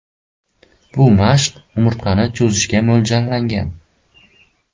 Bu mashq umurtqani cho‘zishga mo‘ljallangan.